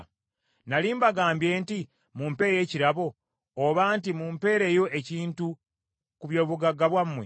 Nnali mbagambye nti, ‘Mumpe ekirabo,’ oba nti, ‘Mumpeereyo ekintu ku by’obugagga bwammwe,